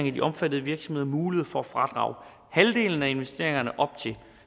i de omfattede virksomheder mulighed for at fradrage halvdelen af investeringerne op til